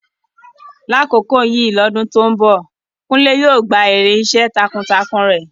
Ní àkókò yìí lọ́dún tó ń bọ̀, Kunle yóò gba èrè iṣẹ́ takuntakun rẹ̀.